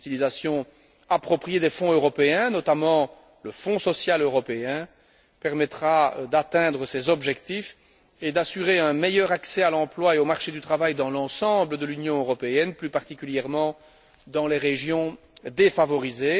Une utilisation appropriée des fonds européens, notamment le Fonds social européen, permettra d'atteindre ces objectifs et d'assurer un meilleur accès à l'emploi et au marché du travail dans l'ensemble de l'Union européenne, plus particulièrement dans les régions défavorisées.